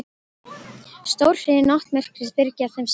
Stórhríðin og náttmyrkrið byrgja þeim sýn.